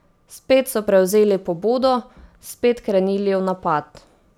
Spet so prevzeli pobudo, spet krenili v napad.